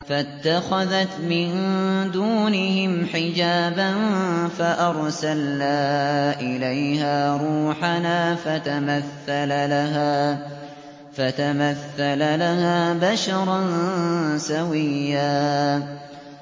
فَاتَّخَذَتْ مِن دُونِهِمْ حِجَابًا فَأَرْسَلْنَا إِلَيْهَا رُوحَنَا فَتَمَثَّلَ لَهَا بَشَرًا سَوِيًّا